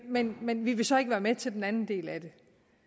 men men vi vil så ikke være med til den anden del af det